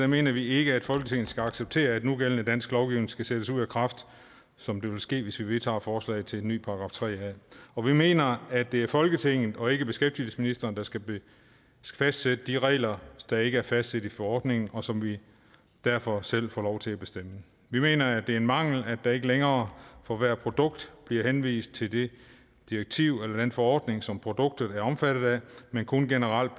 mener vi ikke at folketinget skal acceptere at nugældende dansk lovgivning skal sættes ud af kraft som det vil ske hvis vi vedtager forslaget til en ny § tre a og vi mener at det er folketinget og ikke beskæftigelsesministeren der skal fastsætte de regler der ikke er fastsat i forordningen og som vi derfor selv får lov til at bestemme vi mener at det er en mangel at der ikke længere for hvert produkt bliver henvist til det direktiv eller den forordning som produktet er omfattet af men kun generelt